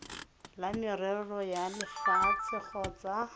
la merero ya lefatshe kgotsa